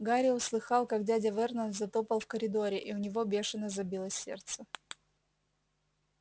гарри услыхал как дядя вернон затопал в коридоре и у него бешено забилось сердце